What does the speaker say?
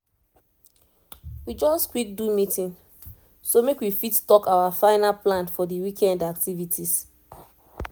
we just quick do meeting so make we fit talk our final plan for the weekend activities